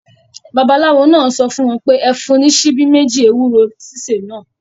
Babaláwo náà sọ fún wọn pé; Ẹ fún un ní ṣíbí méjì ewúro sísè náà.